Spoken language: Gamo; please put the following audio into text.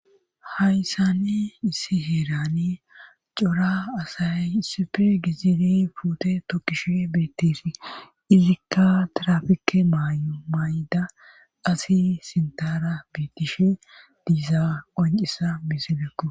hayssani issi heerani cora asay issifi gizidi puute tokkishe bettesi izikka trafike may7da asi sintara beitishe diiza qoncisa miselekko